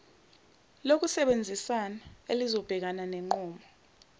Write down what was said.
lokusebenzisana elizobhekana nenqubo